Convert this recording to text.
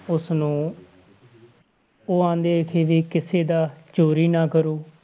ਉਸਨੂੰ ਉਹ ਕਹਿੰਦੇ ਸੀ ਵੀ ਕਿਸੇ ਦਾ ਚੋਰੀ ਨਾ ਕਰੋ।